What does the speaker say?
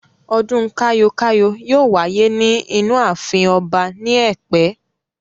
Ọdún kayo-kayo yóò wáyé ní inú ààfin ọba ni ẹ̀pẹ́.